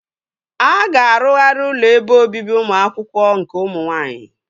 A ga-arụgharị ụlọ ebe obibi ụmụ akwụkwọ nke ụmụ nwaanyị